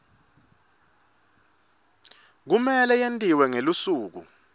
kumele yentiwe ngelusuku